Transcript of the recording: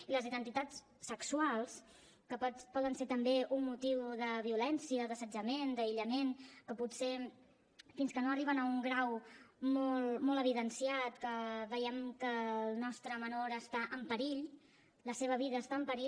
i les identitats sexuals que poden ser també un motiu de violència d’assetjament d’aïllament que potser fins que no arriben a un grau molt evidenciat que veiem que el nostre menor està en perill la seva vida està en perill